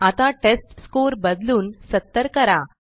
आता टेस्टस्कोर बदलून 70 करा